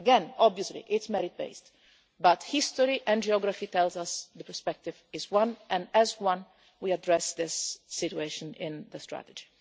Again, obviously it is merit-based, but history and geography tells us the perspective is one, and as one we address this situation in the strategy.